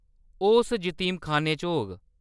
ओह्‌‌ उस जतीमखान्ने च होग।